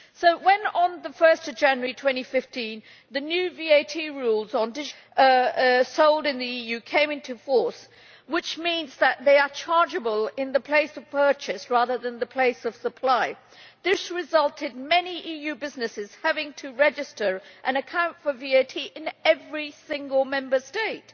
So when on 1 January 2015 the new VAT rules on digital products sold in the EU came into force, which means that they are chargeable in the place of purchase rather than the place of supply, this resulted in many EU businesses having to register an account for VAT in every single Member State.